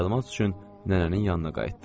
Təlimat üçün nənənin yanına qayıtdım.